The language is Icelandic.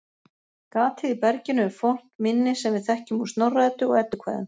Gatið í berginu er fornt minni sem við þekkjum úr Snorra-Eddu og Eddukvæðum.